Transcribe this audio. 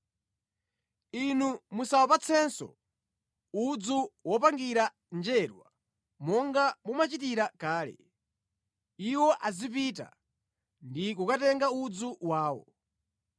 “Inu musawapatsenso udzu wopangira njerwa monga mumachitira kale, iwo azipita ndi kukatenga udzu wawo.